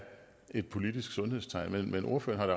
et politisk sundhedstegn men ordføreren